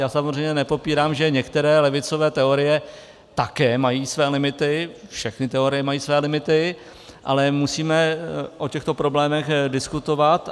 Já samozřejmě nepopírám, že některé levicové teorie také mají své limity, všechny teorie mají své limity, ale musíme o těchto problémech diskutovat.